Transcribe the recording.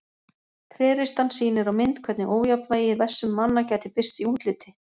Tréristan sýnir á mynd hvernig ójafnvægi í vessum manna gæti birst í útliti.